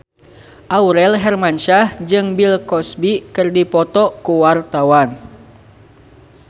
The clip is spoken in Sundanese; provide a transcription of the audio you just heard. Aurel Hermansyah jeung Bill Cosby keur dipoto ku wartawan